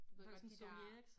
Du ved godt de dér